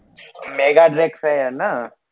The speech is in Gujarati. છે એ ને